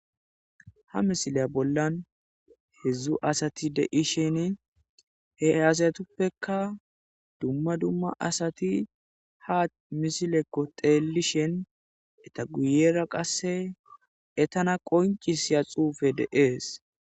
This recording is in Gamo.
ha misilya bollan hedzdzu asati deishin he aasayetuppeka dumma dumma asati ha misilekko teelishen eta guyera qasse etana qoncisiya xuufe deees